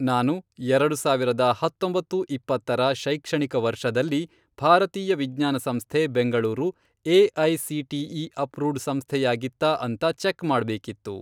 ನಾನು, ಎರಡು ಸಾವಿರದ ಹತ್ತೊಂಬತ್ತು, ಇಪ್ಪತ್ತರ, ಶೈಕ್ಷಣಿಕ ವರ್ಷದಲ್ಲಿ, ಭಾರತೀಯ ವಿಜ್ಞಾನ ಸಂಸ್ಥೆ ಬೆಂಗಳೂರು ಎ.ಐ.ಸಿ.ಟಿ.ಇ. ಅಪ್ರೂವ್ಡ್ ಸಂಸ್ಥೆಯಾಗಿತ್ತಾ ಅಂತ ಚೆಕ್ ಮಾಡ್ಬೇಕಿತ್ತು.